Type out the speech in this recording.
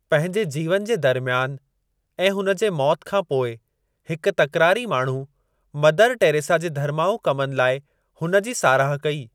पंहिंजे जीवन जे दरमियान ऐं हुन जे मौति खां पोइ हिक तकरारी माण्हू, मदर टेरेसा जे धर्माउ कमनि लाइ हुन जी साराह कई।